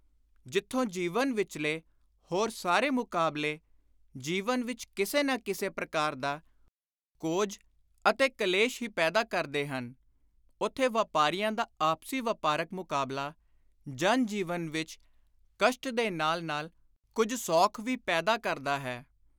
ਜਿਥੋ ਜੀਵਨ ਵਿਚਲੇ ਹੋਰ ਸਾਰੇ ਮੁਕਾਬਲੇ ਜੀਵਨ ਵਿਚ ਕਿਸੇ ਨਾ ਕਿਸੇ ਪ੍ਰਕਾਰ ਦਾ ਕੋਝ ਅਤੇ ਕਲੇਸ਼ ਹੀ ਪੈਦਾ ਕਰਦੇ ਹਨ ਓਥੇ ਵਾਪਾਰੀਆਂ ਦਾ ਆਪਸੀ ਵਾਪਾਰਕ ਮੁਕਾਬਲਾ ਜਨ-ਜੀਵਨ ਵਿਚ ਕਸ਼ਟ ਦੇ ਨਾਲ ਨਾਲ ਕੁਝ ਸੌਖ ਵੀ ਪੈਦਾ ਕਰਦਾ ਹੈ।